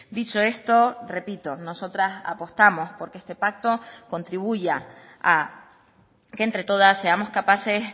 dicho esto repito nosotras apostamos porque este pacto contribuya a que entre todas seamos capaces